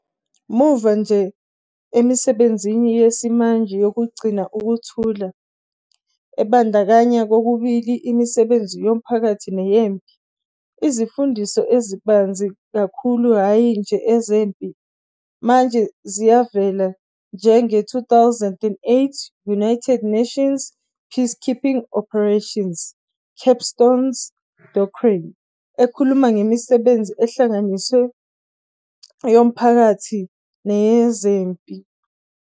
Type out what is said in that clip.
Muva nje, emisebenzini yesimanje yokugcina ukuthula, ebandakanya kokubili imisebenzi yomphakathi neyempi, izimfundiso ezibanzi kakhulu, hhayi nje ezempi, manje ziyavela njenge-2008 United Nations peacekeeping operations' "Capstone Doctrine" ekhuluma ngemisebenzi ehlanganisiwe yomphakathi nezempi.